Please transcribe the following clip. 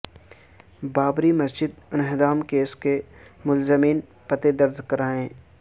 بابری مسجد انہدام کیس کے ملزمین پتے درج کرائیں